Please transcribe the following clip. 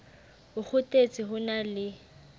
o kgothetse ho na le